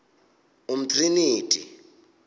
umtriniti